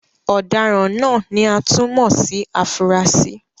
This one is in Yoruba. Ọ̀daràn náà ni a tún mọ̀ sí afurasí.